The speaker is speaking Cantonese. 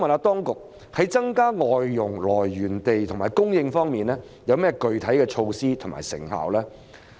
當局在增加外傭來源地及供應方面，有何具體的措施及成效？